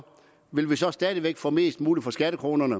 vil vi så stadig væk få mest muligt for skattekronerne